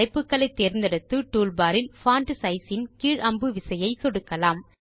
தலைப்புகளை தேர்ந்தெடுத்து டூல்பார் இல் பான்ட் சைஸ் கீழ் அம்பு விசையை சொடுக்கலாம்